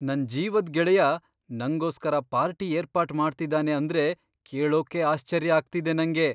ನನ್ ಜೀವದ್ ಗೆಳೆಯ ನಂಗೋಸ್ಕರ ಪಾರ್ಟಿ ಏರ್ಪಾಟ್ ಮಾಡ್ತಿದಾನೆ ಅಂದ್ರೆ ಕೇಳೋಕೇ ಆಶ್ಚರ್ಯ ಆಗ್ತಿದೆ ನಂಗೆ!